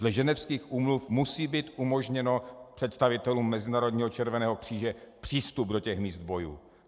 Dle Ženevských úmluv musí být umožněn představitelům Mezinárodního červeného kříže přístup do těch míst bojů.